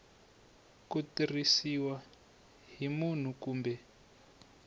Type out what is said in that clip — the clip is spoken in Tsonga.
ku tirhisiwa hi munhu kumbe